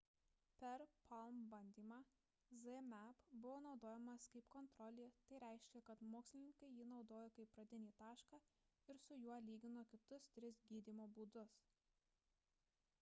per palm bandymą zmapp buvo naudojamas kaip kontrolė tai reiškia kad mokslininkai jį naudojo kaip pradinį tašką ir su juo lygino kitus tris gydymo būdus